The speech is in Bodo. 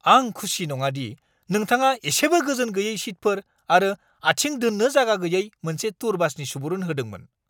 आं खुसि नङा दि नोंथाङा इसेबो गोजोन गैयै सिटफोर आरो आथिं दोननो जायगा गैयै मोनसे टुर बासनि सुबुरुन होदोंमोन!